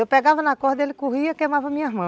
Eu pegava na corda, ele corria e queimava a minha mão.